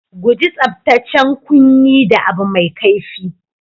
Guji tsabtacen kunni da abu mai kaifi.